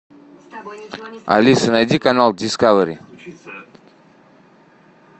алиса найди канал дискавери